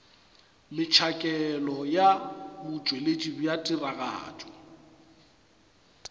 metšhakelo ya botšweletši bja tiragatšo